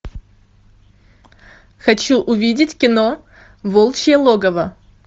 хочу увидеть кино волчье логово